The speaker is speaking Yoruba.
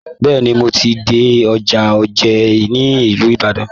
Bẹ́ẹ̀ni, mo ti dé ọjà òjé ní ìlú Ibadan.